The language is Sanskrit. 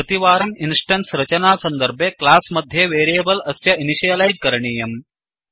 प्रतिवारम् इन्स्टेन्स् रचनासन्दर्भे क्लास् मध्ये वेरियेबल् अस्य इनिशियलैज् करणीयम्